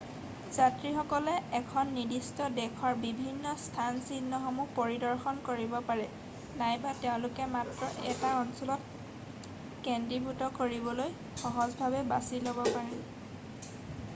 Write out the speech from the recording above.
যাত্ৰীসকলে এখন নিদিষ্ট দেশৰ বিভিন্ন স্থানচিহ্নসমূহ পৰিদৰ্শন কৰিব পাৰে নাইবা তেওঁলোকে মাত্ৰ 1 টা অঞ্চলত কেন্দ্ৰীভূত কৰিবলৈ সহজভাৱে বাছি ল'ব পাৰে৷